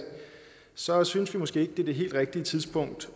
så synes vi måske ikke det er det helt rigtige tidspunkt